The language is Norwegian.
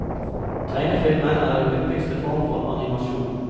Tegnefilmen er den hyppigste form for animasjon.